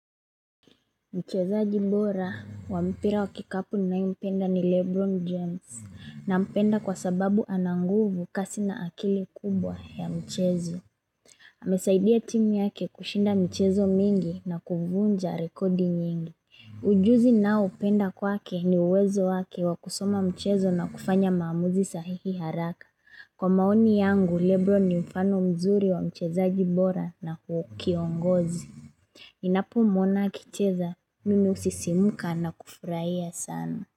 Mchezaji bora wa mpira wa kikapu ninayo mpenda ni Lebron James nampenda kwa sababu ananguvu kasi na akili kubwa ya mchezo. Amesaidia timu yake kushinda michezo mingi na kuvunja rekodi nyingi. Ujuzi nao upenda kwake ni uwezo wake wakusoma mchezo na kufanya maamuzi sahihi haraka. Kwa maoni yangu, Lebron ni mfano mzuri wa mchezaji bora na kiongozi. Ninapo mwona akicheza, mimi husisimuka na kufurayia sana.